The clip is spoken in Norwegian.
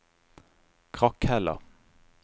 Krakhella